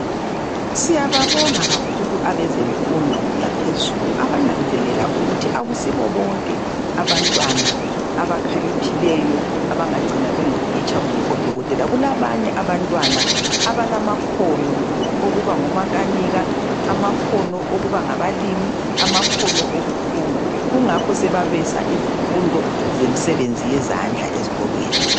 Siyababonga kakhulu abezemfundo yaphezulu abananzelela ukut akusibo bonke abantwana abakhaliphileyo abangancina sebengotitsha kumbe odokotela kulabanye abantwana abalamakhono okubangomakanika amakhona okoba ngomakanika amakhona okuba ngabalimi amakhono okuthunga kungakho babisa imsebenzi yezandla ezikolweni